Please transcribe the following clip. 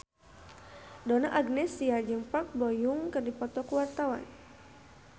Donna Agnesia jeung Park Bo Yung keur dipoto ku wartawan